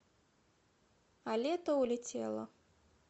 а лето улетело